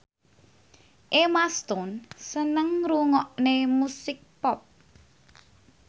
Emma Stone seneng ngrungokne musik pop